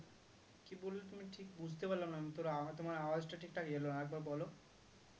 কি বললে তুমি ঠিক বুঝতে পারলাম না তোর আওয়া তোমার আওয়াজটা ঠিকঠাক এলোনা আরেকবার বলো